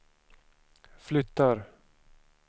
flyttar